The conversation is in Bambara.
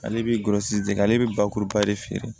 Ale bɛ golosi ale be bakuruba de feere